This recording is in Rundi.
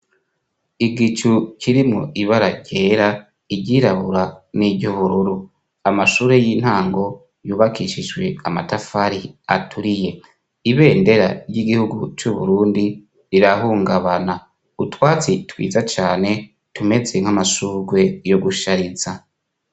Igicu kirimwo ibara ryera iryirabura n'iryubururu, amashure y'intango yubakishijwe amatafari aturiye ibendera ry'igihugu c'uburundi rirahungabana utwatsi twiza cane tumeze nk'amashurwe yo gushariza.